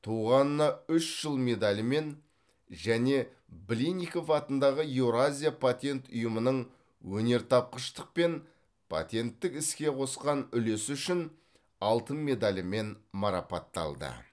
туғанына үш жыл медалімен және блинников атындағы еуразия патент ұйымының өнертапқыштық пен патенттік іске қосқан үлесі үшін алтын медалімен марапатталды